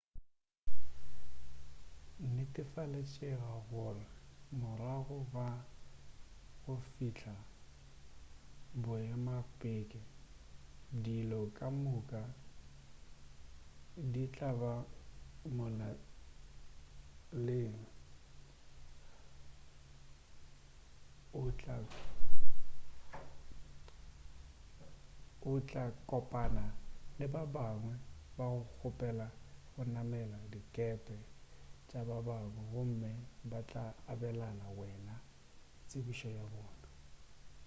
netefaletšega gore ka morago ga go fihla boemakepe dilo ka moka di tla ba molaleng o tla kopana le ba bangwe ba go kgopela go namela dikepe tša babangwe gomme ba tla abelana le wena tsebišo ya bona